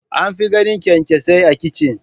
An fi ganin kyankyasai a kicin.